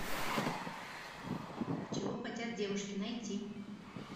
чего хотят девушки найти